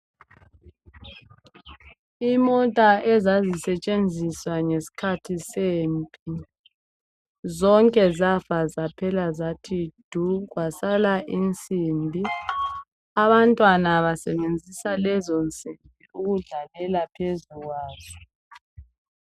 Imota ezazisetshenziswa ngeskhathi sempi. Zonke zafa zaphela zathi du, kwasala insimbi. Abantwana basebenzisa lezo nsimbi ukudlalela phezu kwazo.